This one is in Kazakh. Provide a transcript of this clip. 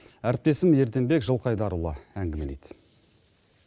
әріптесім ерденбек жылқайдарұлы әңгімелейді